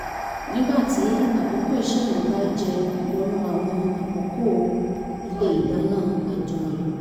nígbà tí àkókò iṣẹ́ mi bá jẹ wọnú àwọn àkókò ilé ìdáná ajùmọ̀lò